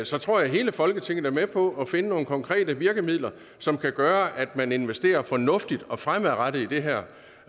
så tror jeg hele folketinget er med på at finde nogle konkrete virkemidler som kan gøre at man investerer fornuftigt og fremadrettet i det her